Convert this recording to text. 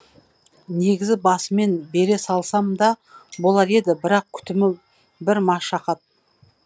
негізі басымен бере салсам да болар еді бірақ күтімі бір машақат